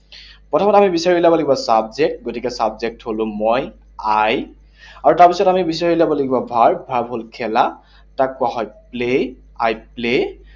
প্ৰথমতে আমি বিচাৰি উলিয়াব লাগিব subject, গতিকে subject হলো মই, I, আৰু তাৰপিছত আমি বিচাৰি উলিয়াব লাগিব verb. Verb হল খেলা, তাক কোৱা হয় play, I play